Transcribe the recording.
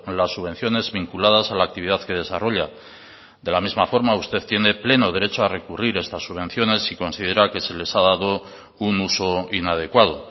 las subvenciones vinculadas a la actividad que desarrolla de la misma forma usted tiene pleno derecho a recurrir estas subvenciones si considera que se les ha dado un uso inadecuado